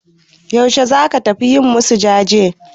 Yaushe za ka tafi yi masu jaje?